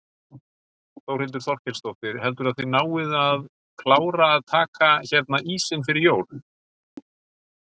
Þórhildur Þorkelsdóttir: Heldurðu að þið náið að klára að taka hérna ísinn fyrir jól?